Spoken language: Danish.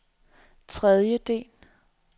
tredjedel